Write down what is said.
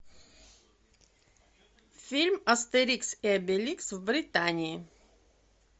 фильм астерикс и обеликс в британии